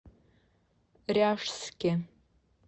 ряжске